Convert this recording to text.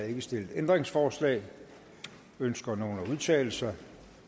ikke stillet ændringsforslag ønsker nogen at udtale sig